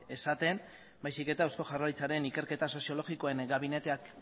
esaten baizik eta eusko jaurlaritzaren ikerketa soziologikoen gabineteak